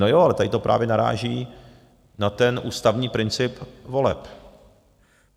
No jo, ale tady to právě naráží na ten ústavní princip voleb.